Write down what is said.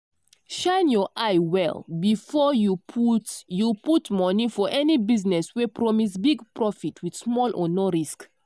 shine your eye well before you put you put money for any business wey promise big profit with small or no risk.